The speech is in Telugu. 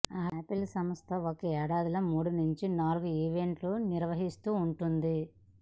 ఆపిల్ సంస్థ ఒక ఏడాదిలో మూడు నుంచి నాలుగు ఈవెంట్లు నిర్వహిస్తుంటుంది